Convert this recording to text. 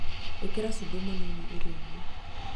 ĩkĩra cumbĩ mũnini irio inĩ